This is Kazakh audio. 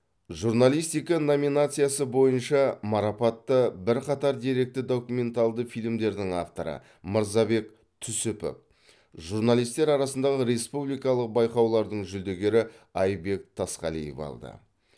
журналистика номинациясы бойынша марапатты бірқатар деректі документалды фильмдердің авторы мырзабек түсіпов журналистер арасындағы республикалық байқаулардың жүлдегері айбек тасқалиев алды